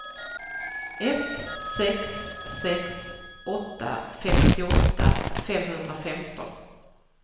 ett sex sex åtta femtioåtta femhundrafemton